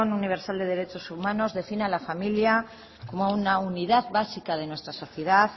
universal de derechos humanos define a la familia como una unidad básica de nuestra sociedad